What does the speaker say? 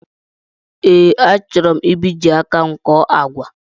Ee, a chọrọ mbiji áká m kọ́ọ́ àgwà